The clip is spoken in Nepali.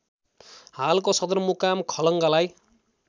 हालको सदरमुकाम खलङ्गालाई